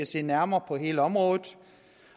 se nærmere på hele området